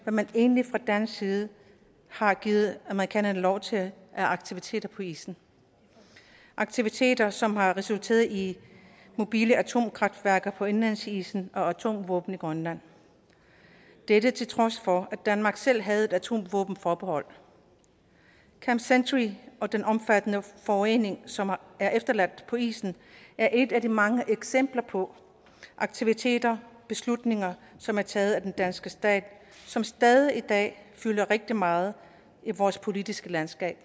hvad man egentlig fra dansk side har givet amerikanerne lov til af aktiviteter på isen aktiviteter som har resulteret i mobile atomkraftværker på indlandsisen og atomvåben i grønland dette til trods for at danmark selv havde et atomvåbenforbehold camp century og den omfattende forurening som er efterladt på isen er et af de mange eksempler på aktiviteter og beslutninger som er taget af den danske stat som stadig i dag fylder rigtig meget i vores politiske landskab